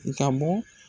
I ka bɔ